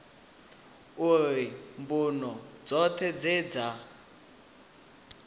uri mbuno dzoṱhe dze dza